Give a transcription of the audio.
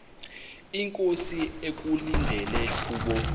inkosi ekulindele kubo